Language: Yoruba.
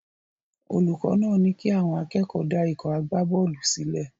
Olùkọ́ náà ní kí àwọn akẹ́kọ̀ọ́ dá ikọ̀ agbábọ́ọ̀lù sílẹ̀.